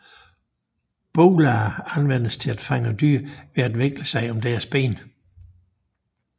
Bolaer anvendes til at fange dyr ved at vikle sig om deres ben